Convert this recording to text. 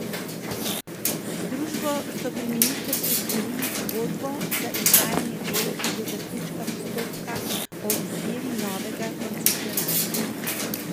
Z družbo so pri ministrstvu sklenili pogodbo za izvajanje del do zaključka postopka o izbiri novega koncesionarja.